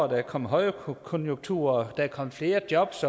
der er kommet højkonjunktur og er kommet flere jobs